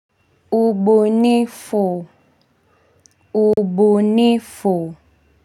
Ubunifu ubunifu.